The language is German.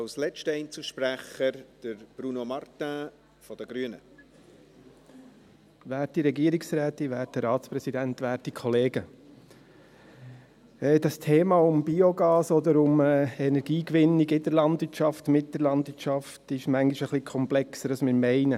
Das Thema Biogas oder Energiegewinnung in der Landwirtschaft und mit der Landwirtschaft ist manchmal etwas komplexer, als wir meinen.